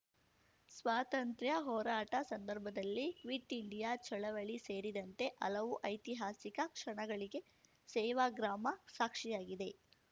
ಸ್ವಾತಂತ್ರ್ಯ ಹೋರಾಟ ಸಂದರ್ಭದಲ್ಲಿ ಕ್ವಿಟ್‌ ಇಂಡಿಯಾ ಚಳವಳಿ ಸೇರಿದಂತೆ ಹಲವು ಐತಿಹಾಸಿಕ ಕ್ಷಣಗಳಿಗೆ ಸೇವಾಗ್ರಾಮ ಸಾಕ್ಷಿಯಾಗಿದೆ